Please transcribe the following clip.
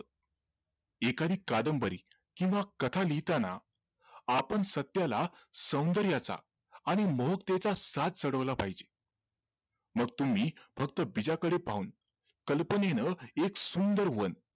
एखादी कादंबरी किंव्हा कथा लिहिताना आपण सत्याला सौंदर्याचा आणि मोहकतेचा साज चढवला पाहिजे मग तुम्ही फक्त बीजाकडे पाहून कल्पनेनं एक सुंदर वन